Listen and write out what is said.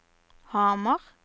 Hamar